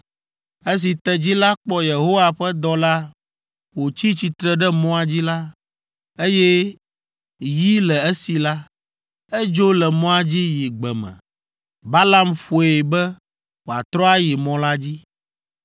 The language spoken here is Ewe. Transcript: Esi tedzi la kpɔ Yehowa ƒe dɔla wòtsi tsitre ɖe mɔa dzi, eye yi le esi la, edzo le mɔa dzi yi gbe me. Balaam ƒoe be wòatrɔ ayi mɔ la dzi.